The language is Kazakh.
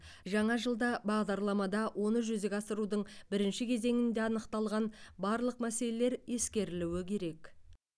жаңа жылда бағдарламада оны жүзеге асырудың бірінші кезеңінде анықталған барлық мәселелер ескерілуі керек